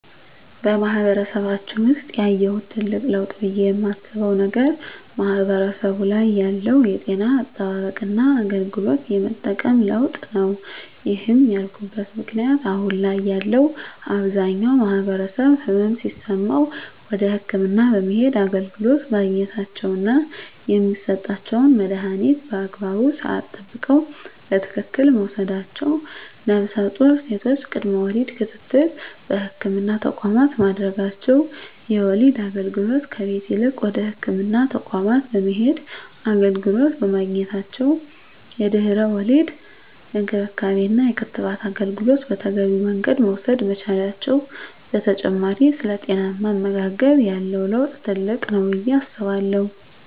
በማህበረሰባችን ውሰጥ ያየሁት ትልቅ ለውጥ ብየ የማስበው ነገር ማህበረሰቡ ላይ ያለው የጤና አጠባበቅና አገልግሎት የመጠቀም ለውጥ ነው። ይህን ያልኩበት ምክንያት አሁን ላይ ያለው አብዛኛው ማህበረሰብ ህመም ሲሰማው ወደ ህክምና በመሄድ አገልግሎት ማግኘታቸውና የሚሰጣቸውን መድሀኒት በአግባቡ ስዓት ጠብቀው በትክክል መውሰዳቸው ነፍሰጡር ሴቶች ቅድመ ወሊድ ክትትል በህክምና ተቋማት ማድረጋቸው የወሊድ አገልግሎት ከቤት ይልቅ ወደ ህክምና ተቋማት በመሄድ አገልግሎት በማግኘታቸው የድህረ ወሊድ እንክብካቤና የክትባት አገልግሎት በተገቢው መንገድ መውሰድ መቻላቸው በተጨማሪ ስለ ጤናማ አመጋገብ ያለው ለውጥ ትልቅ ነው ብየ አስባለሁ።